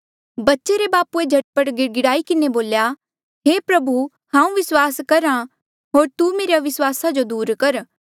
बच्चे रे बापूए झट पट गिड़गिड़ाई किन्हें बोल्या हे प्रभु हांऊँ विस्वास करहा होर तू मेरे अविस्वासा जो दूर कर